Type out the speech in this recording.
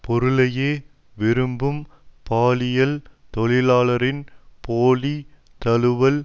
பொருளையே விரும்பும் பாலியல் தொழிலாளரின் போலி தழுவல்